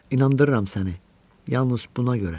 İnandırıram səni, yalnız buna görə.